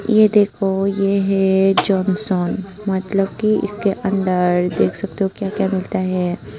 ये देखो ये है जॉनसन मतलब की इसके अंदर देख सकते हो क्या क्या मिलता है।